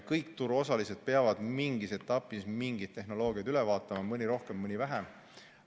Kõik turuosalised peavad mingis etapis mingid tehnoloogiad üle vaatama, mõni rohkem, mõni vähem.